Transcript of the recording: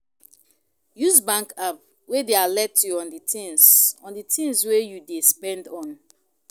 Use bank app wey dey alert you on di things on do things wey you dey spend on